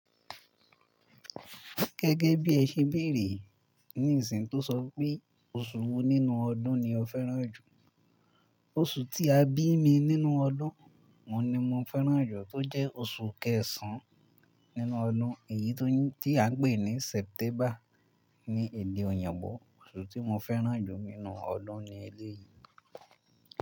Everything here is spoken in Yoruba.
Gẹ́gẹ́ bí ẹ ṣe béèrè ní ìsìn tó sọ pé oṣù wo nínú ọdún ni o fẹ́ràn jù. Oṣù tí a bí mi nínú ọdún, òun ni mo fẹ́ràn jù tó jẹ́ oṣù kẹsàn-án nínú ọdún èyí tó tí à ń pè ní Sẹ́tẹ́mbà ní èdè ọ̀yìnbó. Oṣù tí mo fẹ́ràn jù nínú ọdún ni eléyìí.